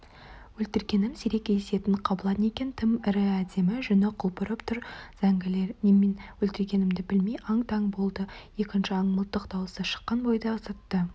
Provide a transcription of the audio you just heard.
өлтіргенім сирек кездесетін қабылан екен тым ірі әдемі жүні құлпырып тұр зәңгілер немен өлтіргенімді білмей аң-таң болды екінші аң мылтық даусы шыққан бойда зытты